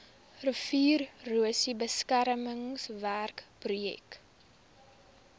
riviererosie beskermingswerke projek